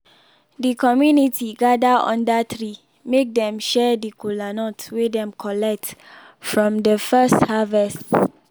de community gather under tree make dem share de kolanut wey dem collect from de first harvest.